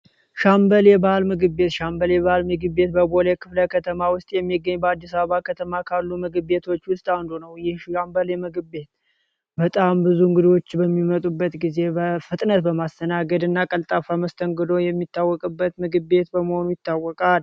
ሻምበል የባህል ምግብ ቤት ሻምበል የባህል ምግብ ቤት በቦሌ ክፍለ ከተማ ውስጥ የሚገኝ በአዲስ አበባ ከተማ ካሉ ምግብ ቤቶች ውስጥ አንዱ ነው። ይህ ሻምበል የባህል ምግብ ቤት በጣም ብዙ እንግዶች በሚመጡበት ጊዜ በፍጥነት በማስተናገድ እና ቀልጣፋ መስተንግዶ የሚታወቅበት ምግብ ቤት በመሆኑ ይታወቃል።